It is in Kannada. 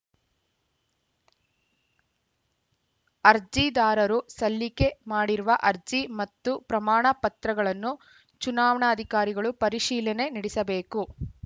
ಅರ್ಜಿದಾರರು ಸಲ್ಲಿಕೆ ಮಾಡಿರುವ ಅರ್ಜಿ ಮತ್ತು ಪ್ರಮಾಣ ಪತ್ರಗಳನ್ನು ಚುನಾವಣಾಧಿಕಾರಿಗಳು ಪರಿಶೀಲನೆ ನಡೆಸಬೇಕು